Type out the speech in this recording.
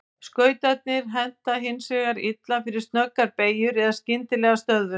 Skautarnir henta hins vegar illa fyrir snöggar beygjur eða skyndilega stöðvun.